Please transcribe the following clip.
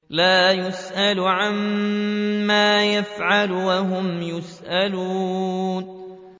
لَا يُسْأَلُ عَمَّا يَفْعَلُ وَهُمْ يُسْأَلُونَ